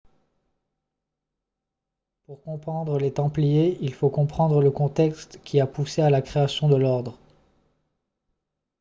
pour comprendre les templiers il faut comprendre le contexte qui a poussé à la création de l'ordre